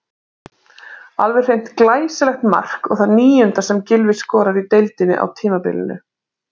Alveg hreint glæsilegt mark og það níunda sem Gylfi skorar í deildinni á tímabilinu.